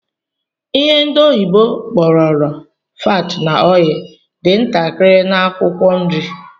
Ihe ndi oyibo kpororo 'fat na oil' dị ntakịrị na Akwụkwọ nri